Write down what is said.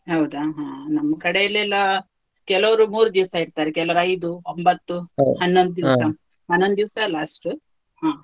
ಹೌದಾ ಹಾ, ನಮ್ಕಡೆಯಲ್ಲೆಲ್ಲ, ಕೆಲವರು ಮೂರು ದಿವಸ ಇಡ್ತಾರೆ, ಕೆಲವರು ಐದು, ಒಂಬತ್ತು ಹನ್ನೊಂದು ದಿವ್ಸ last ಹ.